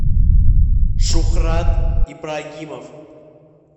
шухрат ибрагимов